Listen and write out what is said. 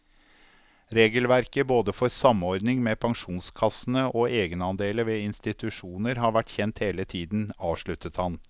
Regelverket både for samordning med pensjonskassene og egenandeler ved institusjoner har vært kjent hele tiden, avsluttet han.